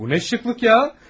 Bu nə dəbdəbədir ya!